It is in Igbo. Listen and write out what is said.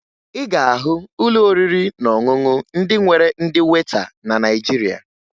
Ị ga-ahụ ụlọ oriri na ọṅụṅụ ndị nwere ndị weta na Naịjirịa